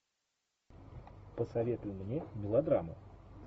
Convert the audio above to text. посоветуй мне мелодраму